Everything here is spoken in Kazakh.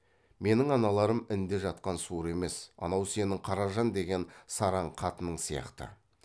менің аналарым інде жатқан суыр емес анау сенің қаражан деген сараң қатының сияқты